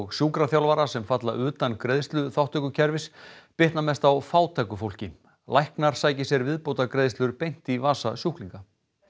sjúkraþjálfara sem falla utan greiðsluþátttökukerfis bitna mest á fátæku fólki læknar sæki sér viðbótargreiðslur beint í vasa sjúklinga